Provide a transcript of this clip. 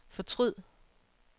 fortryd